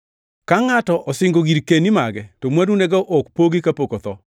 Ka ngʼato osingo girkeni mage, to mwandunego ok pogi kapok otho,